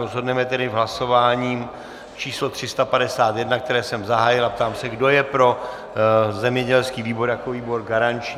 Rozhodneme tedy v hlasování číslo 351, které jsem zahájil, a ptám se, kdo je pro zemědělský výbor jako výbor garanční.